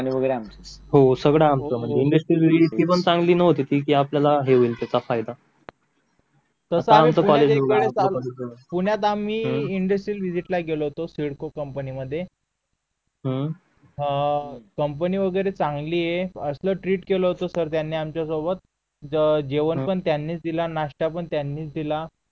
पुण्यात आम्ही industrial visit ला गेलो होतो सिडको कंपनीमध्ये अं कंपनी वगैरे चांगली ये जेवण पण त्यांनीच आम्हाला दिल आणि नाश्ता पण त्यांनीच दिला